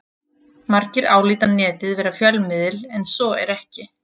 Margir álíta Netið vera fjölmiðil en svo er ekki.